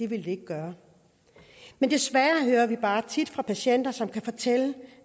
ville gøre men desværre hører vi bare tit fra patienter som kan fortælle